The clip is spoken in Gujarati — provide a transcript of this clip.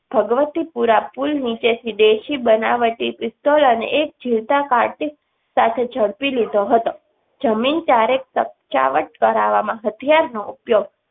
ભગવતીપુરા પુલ નીચેથી દેશી બનાવટી પિસ્તોલ અને એક જીવતા કર્ટિસ સાથે જડપી લીધો હતો જમીન ત્યારે તખયાવટ કરાવવામાં હથિયારનો ઉપયોગ